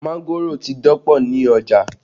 Mángòrò ti dọ̀pọ̀ ní ọjà